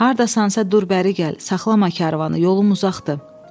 "Hardasansa dur bəri gəl, saxlama karvanı, yolum uzatdı."